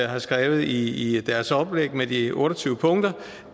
har skrevet i deres oplæg med de otte og tyve punkter